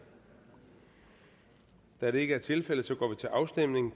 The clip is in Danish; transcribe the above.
da det ikke er tilfældet går vi til afstemning